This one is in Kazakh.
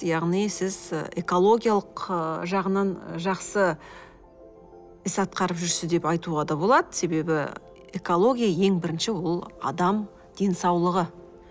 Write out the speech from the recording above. яғни сіз і экологиялық ы жағынан жақсы іс атқарып жүрсіз деп айтуға да болады себебі экология ең бірінші ол адам денсаулығы